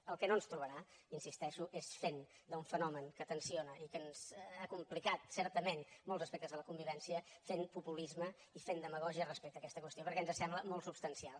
en el que no ens trobarà hi insisteixo és fent d’un fenomen que tensa i que ens ha complicat certament molts aspectes de la convivència fent populisme i fent demagògia respecte a aquesta qüestió perquè ens sembla molt substancial